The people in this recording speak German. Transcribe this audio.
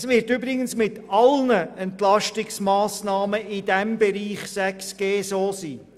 Es wird übrigens mit allen Entlastungsmassnahmen in diesem Bereich 6.g so sein.